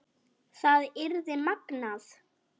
Það yrði magnað.